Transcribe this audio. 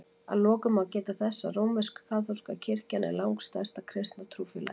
Að lokum má geta þess að rómversk-kaþólska kirkjan er langstærsta kristna trúfélagið.